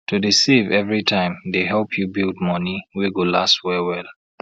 to dey save every time dey help you build money wey go last well well